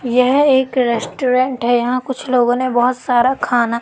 यह एक रेस्टोरेंट है यहां कुछ लोगों ने बहोत सारा खान--